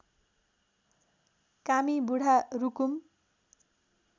Kami Budha Rukum